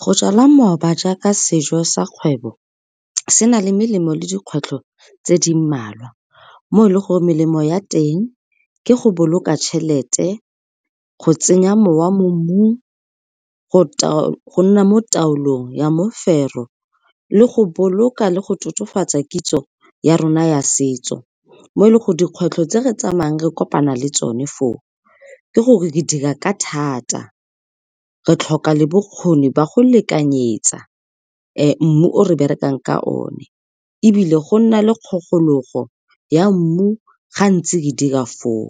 Go jala mooba jaaka sejo sa kgwebo, se na le melemo le dikgwetlho tse di mmalwa mo e le gore melemo ya teng ke go boloka tjhelete, go tsenya mowa mo mmung, go nna mo taolong ya mofero le go boloka le go totofatsa kitso ya rona ya setso, mo e leng gore dikgwetlho tse re tsamayang re kopana le tsone foo ke gore re dira ka thata re tlhoka le bokgoni ba go lekanyetsa mmu o re berekang ka one ebile go nna le kgogolego ya mmu gantse re dira foo